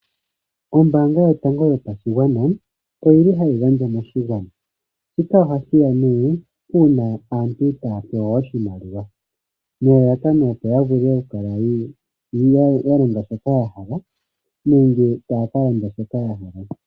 Ombaanga yotango yopashigwana oyili hayi gandja moshigwana, shika ohashi ya nee uuna aantu taya pewa oshimaliwa nelalakano opo ya vule okukala ya longa shoka ya hala, nenge taya ka landa shoka ya hala.